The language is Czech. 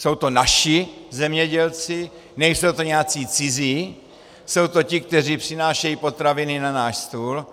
Jsou to naši zemědělci, nejsou to nějací cizí, jsou to ti, kteří přinášejí potraviny na náš stůl,